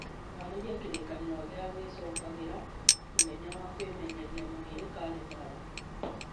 haarĩria kĩririkano gĩa gwĩcokagĩra mũthenya wa kwĩmenyeria mwĩrĩ kalendari